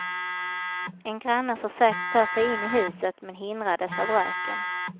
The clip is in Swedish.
En granne försökte ta sig in i huset men hindrades av röken.